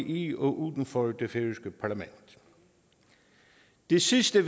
i og uden for det færøske parlament det sidste